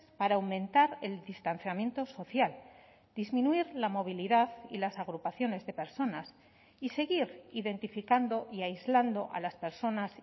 para aumentar el distanciamiento social disminuir la movilidad y las agrupaciones de personas y seguir identificando y aislando a las personas